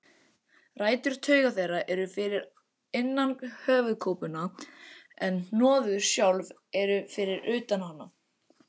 Rætur tauga þeirra eru fyrir innan höfuðkúpuna en hnoðun sjálf eru fyrir utan hana.